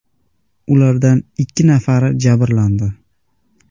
Ulardan ikki nafari jabrlandi.